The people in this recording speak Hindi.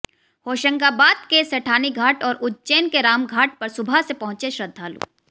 होशंगाबाद के सेठानी घाट और उज्जैन के रामघाट पर सुबह से पहुंचे श्रद्धालु